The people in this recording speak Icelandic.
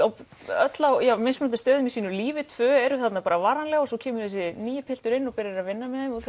öll á mismunandi stöðum í sínu lífi tvö eru þarna varanlega og svo kemur þessi nýi piltur inn og byrjar að vinna með þeim og